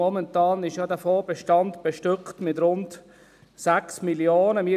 Momentan ist dieser Fondsbestand ja mit rund 6 Mio. Franken bestückt.